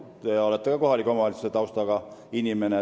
Te isegi olete kohaliku omavalitsuse taustaga inimene.